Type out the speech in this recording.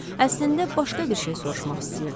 Əslində başqa bir şey soruşmaq istəyirdim.